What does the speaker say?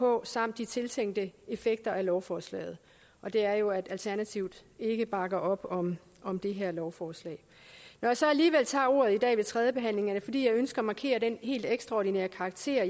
på samt de tiltænkte effekter af lovforslaget og det er jo at alternativet ikke bakker op om om det her lovforslag når jeg så alligevel tager ordet i dag ved tredjebehandlingen er det fordi jeg ønsker at markere den helt ekstraordinære karakter